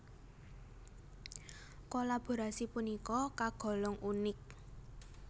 Kolaborasi punika kagolong unik